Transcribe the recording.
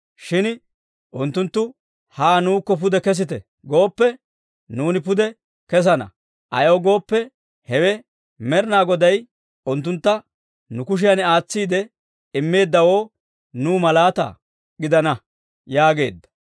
Shin unttunttu, ‹Haa nuukko pude kesite gooppe, nuuni pude kessana; ayaw gooppe, hewe Med'inaa Goday unttuntta nu kushiyan aatsiide immeeddawoo nuw malaataa gidana› » yaageedda.